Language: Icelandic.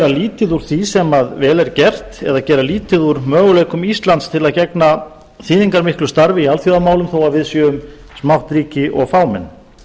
lítið úr því sem vel er gert eða gera lítið úr möguleikum íslands til að gegna þýðingarmiklu starfi í alþjóðamálum þó við séum smátt ríki og fámenn